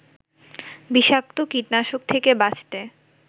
বিষাক্ত কীটনাশক থেকে বাঁচতে